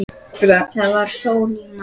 Það var sól í mars.